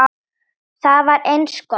Það var eins gott!